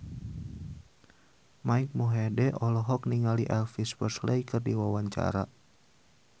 Mike Mohede olohok ningali Elvis Presley keur diwawancara